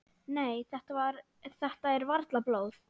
Nei, þetta er varla blóð.